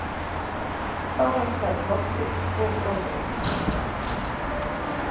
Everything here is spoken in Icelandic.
Þá hreinsaðist loftið og gróðurinn